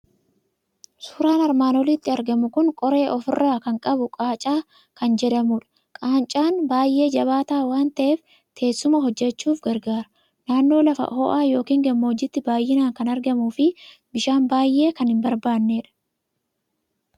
Suuraan armaan olitti argamu kun qoree ofirraa kan qabu qaacaa kan jedhamudha. Qaacaan baay'ee jabaataa waan ta'eef, teessuma hojjechuuf gargaara. Naannoo lafa ho'aa yookiin gammoojjiitti baay'inaan kan argamuu fi bishaan baay'ee kan hin barbaannedha.